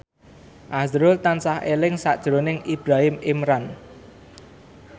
azrul tansah eling sakjroning Ibrahim Imran